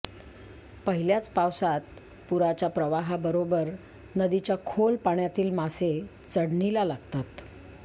पहिल्याच पावसात पुराच्या प्रवाहाबरोबर नदीच्या खोल पाण्यातील मासे चढणीला लागतात